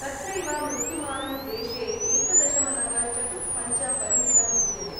तत्रैव मृत्युमानं देशे एकदशमलवचतुःपञ्चपरिमितं विद्यते।